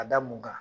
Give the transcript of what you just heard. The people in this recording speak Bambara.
A da mun kan